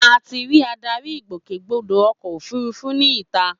A ti ri adarí ìgbòkègbodò ọkọ̀ òfurufú ní ìta